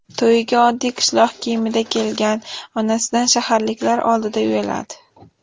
To‘yiga oddiy qishloq kiyimida kelgan onasidan shaharliklar oldida uyaladi.